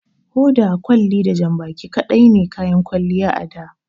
Hoda, kwalli da janbaki kaɗai ne kayan kwalliya a da.